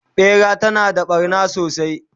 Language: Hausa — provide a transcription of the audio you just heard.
ɓera tana da ɓarna sosai